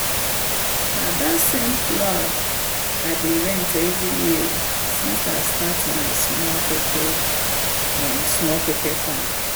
na that same plow i dey rent every year since i start my small pepper small pepper farm.